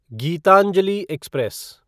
Geetanjali express